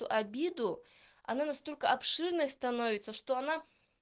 то обиду она настолько обширной становится что она